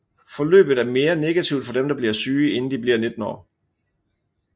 Forløbet er mere negativt for dem der bliver syge inden de bliver 19 år